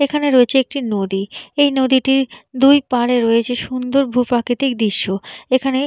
এখানে রয়েছে একটি নদী । এই নদীটির দুই পারে রয়েছে সুন্দর ভূপ্রাকৃতিক দৃশ্য । এখানে--